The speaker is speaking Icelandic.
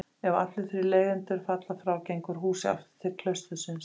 Ef allir þrír leigjendur falla frá gengur húsið aftur til klaustursins.